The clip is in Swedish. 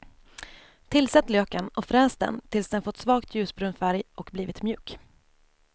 Tillsätt löken och fräs den tills den fått svagt ljusbrun färg och blivit mjuk.